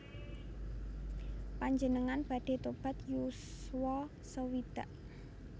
Panjenengan badhe tobat yuswa sewidak